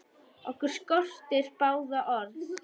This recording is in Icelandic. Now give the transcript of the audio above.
Okkur skortir báða orð.